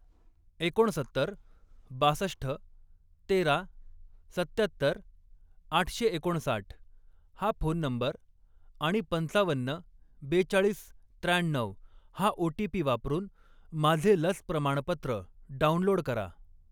एकोणसत्तर, बासष्ठ, तेरा, सत्त्याहत्तर, आठशे एकोणसाठ हा फोन नंबर आणि पंचावन्न, बेचाळीस, त्र्याण्णऊ हा ओ.टी.पी. वापरून माझे लस प्रमाणपत्र डाउनलोड करा.